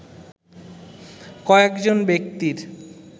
কয়েকজন ব্যক্তির